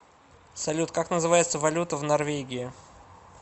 салют как называется валюта в норвегии